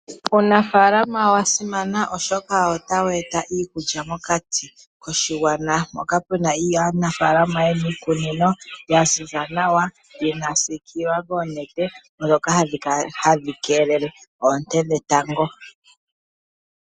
Uunafaalama owa simana oshoka ota weeta iikulya mokati koshigwana moka puna aanafalama yena iikunino yaziza nawa yasiikilwa koonete dhoka hadhi keelele oonte dhetango.